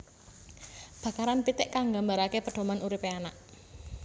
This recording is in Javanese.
Bakaran pitik kang nggambaraké pedoman uripé anak